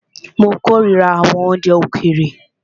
Mó kòrira àwọn oúnjẹ òkèèrè.